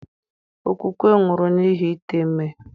Okwukwe nwụrụ n'ihi ite ime.